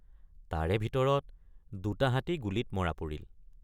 তাৰে ভিতৰত দুটা হাতী গুলীত মৰা পৰিল।